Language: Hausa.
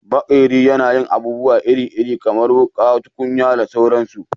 Maƙeri yana yin abubuwa iri-iri kamar wuƙa, tukunya da sauransu